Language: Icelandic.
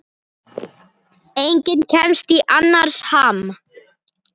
Enginn kemst í annars ham.